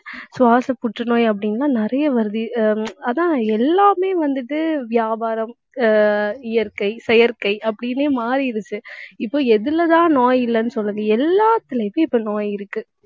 சுவாச புற்றுநோய் அப்படின்னு எல்லாம் நிறைய வருது. ஆஹ் அதான் எல்லாமே வந்துட்டு வியாபாரம் ஆஹ் இயற்கை, செயற்கை அப்படின்னே மாறிருச்சு. இப்போ எதிலதான் நோய் இல்லைன்னு சொல்றது. எல்லாத்திலேயுமே இப்ப நோய் இருக்கு